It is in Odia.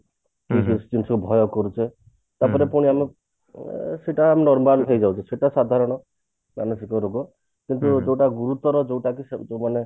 କିଛି ଜିନିଷ କୁ ଭୟ କରୁଛ ତାପରେ ପୁଣି ଆମେ ଅ ସେଟା normal ହେଇଯାଉଛି ସେଟା ସାଧାରଣ ମାନସିକ ରୋଗ କିନ୍ତୁ ଯୋଉଟା ଗୁରୁତର ଯୋଉଟା କି ଯୋଉ ମାନେ